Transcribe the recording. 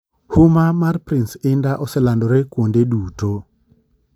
Huma mar Prince Indah oselandorwe kuonde duto